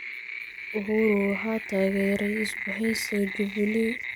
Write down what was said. Uhuru waxaa taageeray isbahaysiga Jubilee.